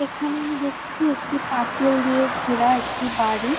এখানে আমি দেখছি একটি পাঁচিল দিয়ে ঘেরা একটি বাড়ি।